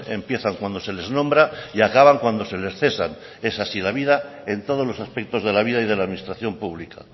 empiezan cuando se les nombra y acaban cuando se les cesan es así la vida en todos los aspectos de la vida y de la administración pública